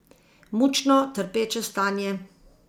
Mučno, trpeče stanje.